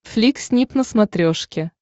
флик снип на смотрешке